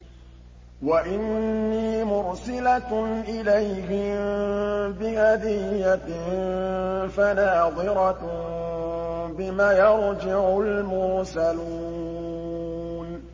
وَإِنِّي مُرْسِلَةٌ إِلَيْهِم بِهَدِيَّةٍ فَنَاظِرَةٌ بِمَ يَرْجِعُ الْمُرْسَلُونَ